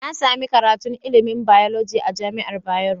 Nasami karatun ilimin biology a jamiar bayero